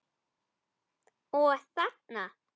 Og þarna?